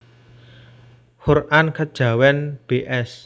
Qur an Kejawen bs